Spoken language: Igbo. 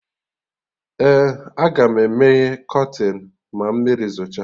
Ee, Agam emeye kọtịnụ ma mmiri zocha